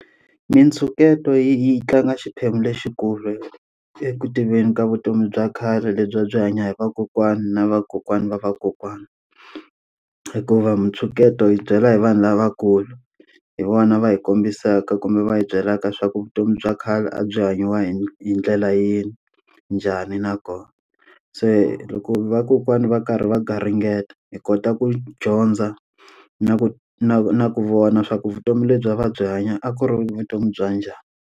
Mintsheketo yi yi tlanga xiphemu lexikulu eku tiveni ka vutomi bya khale lebyi a byi hanya hi vakokwani na vakokwana va vakokwana. Hikuva mintsheketo yi byela hi vanhu lavakulu, hi vona va hi kombisaka kumbe va hi byelaka swa ku vutomi bya khale a byi hanyiwa hi hi ndlela yini, njhani na kona. Se loko vakokwana va karhi va garingeta hi kota ku dyondza na ku na na ku vona swa ku vutomi lebyi a va byi hanya a ku ri vutomi bya njhani.